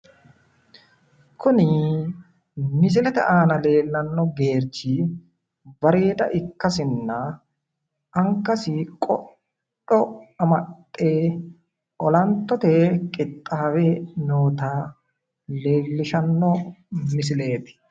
Kuni misilete aana leellanno geerchi bareeda ikkasinna angasi qodho amaxxe olantote qixxaawe noota leellishanno misileeti